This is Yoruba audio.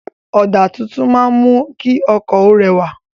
Ọ̀dà tuntun máa ń mú kí ọkọ̀ ó rẹwà.